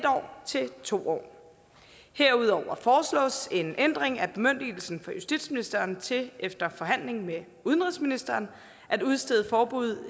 år til to år herudover foreslås en ændring af bemyndigelsen fra justitsministeren til efter forhandling med udenrigsministeren at udstede forbud